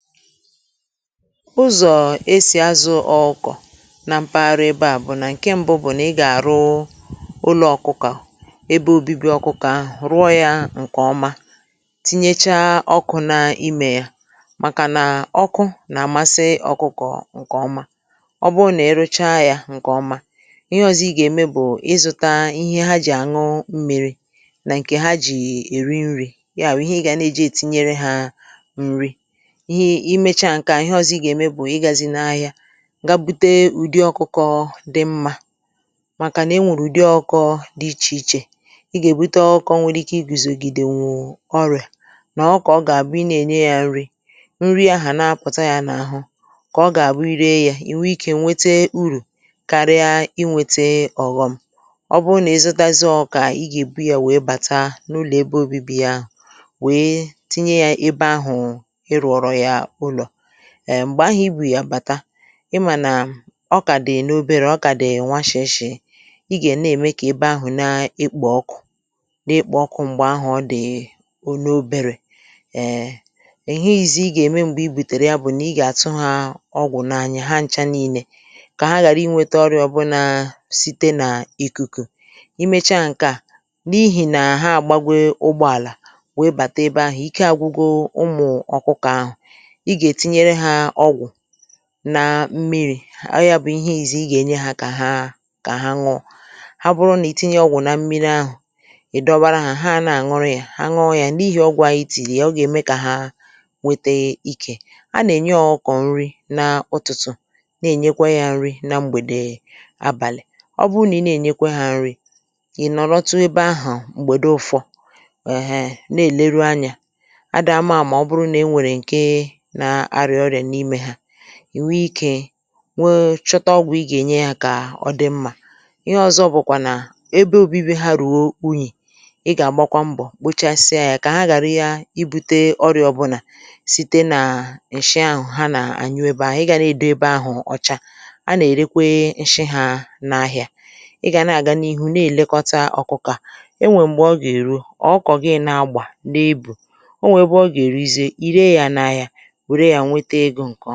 Ụzọ̀ esì azụ̀ ọkụkọ na mpaghara ebe à bụ̀ nà ǹke ṁbụ̇ bụ̀ nà ị gà-àrụ ụlọ̇ ọkụkọ, ebe obibi ọkụkọ ahụ̀ ruo yȧ ǹkè ọma, tinyecha ọkụ̇ na imè ya, màkà nà ọkụ nà-àmasi ọkụkọ ǹkè ọma, ọbụrụ nà-èruchaa yȧ ǹkè ọma ihe ọ̀zọ ị gà-ème bụ̀ ịzụ̇ta ihe ha jì àṅụ m̀miri̇ nà ǹkè ha jì èri nrì, ya bụ̀ ihe ị gà na-eji ètinyere ha nrì, ihe imecha nkè á, ihe ọzọ ị gà-ème bụ̀ ịgȧzị n’ahịa ga bute ụ̀dị ọkụkọ dị mmȧ, màkànà i nwèrè ụ̀dị ọkọ̇ dị ichè ichè, i gà-èbute ọkụ̇ ọnwụrụ ike i gùzògìdè nwụ̀ ọrịà, nà ọ kà ọ gà-àbụ ị na-ènye yȧ nri, nri ahụ̀ na-apụ̀ta yȧ n’àhụ kà ọ gà-àbụ i ree yȧ ì wee ikė nwete urù karie ị wete ọ̀ghọm, ọ bụ nà izutazịa ọkụkọ ahụ ị gà-èbu yȧ wèe bàta n’ụlọ̀ ebe obibi yȧ ahụ̀ wèe tinye yȧ ebe ahụ̀ ịrụoro ha ụlọ, èm̀gbè ahụ̀ i bù yàbàta ịmànà ọ kà dị̀ n’oberė ọ kà dị̀ nwachèshè, i gà-ème kà ebe ahụ̀ na-ekpò ọkụ̇ n’ekpò ọkụ̇ m̀gbè ahụ̀ ọ dị̀ o n’oberė um ǹhe izi ị gà-ème m̀gbè i bùtèrè ya bụ̀ nà ị gà-àtụ ha ọgwụ̀ n’anya ha ncha ni̇nė kà ha ghàra iweta ọrịọ̇ bụ nȧ site nà ìkùkù, i mecha ǹke a n’ihì nà ha àgbagwe ụgbọàlà wee bàta ebe ahụ̀ ike àgwụgwọ ụmụ̀ ọ̀kụkà ahụ̀, ịga ètinyere ha ọgwụ na mmiri̇, ọ yȧ bụ̀ ihe izizi ị gà-enye hȧ kà ha kà ha ñuo, ha bụrụ nà ì tinye ọgwụ̀ na mmiri ahụ̀ ị̀ dọbara hȧ ha na-àṅụrị yȧ ha nghọọ̇ yȧ n’ihì ọgwụ̀ àyị tìyì ya ọ gà-ème kà ha nwete ik, a nà-ènye ọkụkọ̀ nri na ụtụtụ̀, na-ènyekwa yȧ nri na mgbèdè abàlị̀, ọ bụrụ nà ị na-ènyekwa hȧ nri̇ ị̀ nọ̀lọ̀tụ ebe ahụ̀ m̀gbède ụfọ̇, èhè na-èleru anyȧ, adị àmà àmà ọ bụrụ na enwere nke nà arịa ọrịa n'ime ha, ìnwe ikė nwe chọta ọgwụ̀ ịgà ènye yȧ kà ọ dị mmȧ, ihe ọ̇zọ̇ bụ̀kwà nà ebe obi̇bi̇ ha rùo unyì, ịgà àgbakwa mbọ̀ kpochasịa yȧ kà ha ghàra ya ibu̇tė orịa ọ bụ̀ nà site nà nshi ahụ̀ ha nà-ànyụ ebe ahụ̀, ịgà na-èdo ebe ahụ̀ ọcha, a nà-èrekwe nshị hȧ n’ahìa, ịgà na-àga n’ihu na-èlekọta ọkụkọ a, enwè m̀gbè ọ gà-èru ọkụkọ gi na-agbà n’ebù, o nwè ebe ọ gà-èruzi irė ya n’ahìa nwèrè ya nweta ego nkeoma.